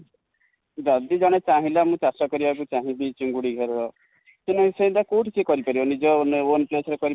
ଯଦି ଜଣେ ଚାହିଁଲା ମୁଁ ଚାଷ କରିବା ପାଇଁ ଚାହିଁବି ଚିଙ୍ଗୁଡ଼ି ଘେରା ର କି ନାଇ ସେ ସେଟା କଉଠି କରିପାରି ବା ?ନିଜ own place